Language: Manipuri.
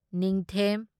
ꯅꯤꯡꯊꯦꯝ